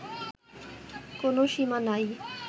কোনও সীমা নাই